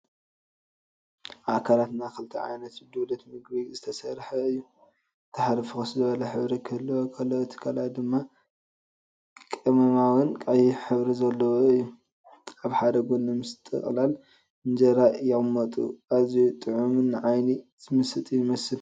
ኣካላትና ካብ ክልተ ዓይነት ዱሌት ምግቢ ዝተሰርሐ እዩ። እቲ ሓደ ፍኹስ ዝበለ ሕብሪ ክህልዎ ከሎ እቲ ካልኣይ ድማ ቀመማዊን ቀይሕን ሕብሪ ዘለዎ እዩ። ኣብ ሓደ ጎኒ ምስ ጥቕላል እንጀራ ይቕመጡ። ኣዝዩ ጥዑምን ንዓይኒ ዝምስጥን ይመስል።